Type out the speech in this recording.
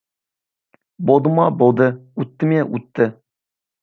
болды ма болды өтті ме өтті